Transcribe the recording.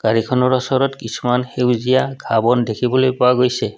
গাড়ীখনৰ ওচৰত কিছুমান সেউজীয়া ঘাঁহ বন দেখিবলৈ পোৱা গৈছে।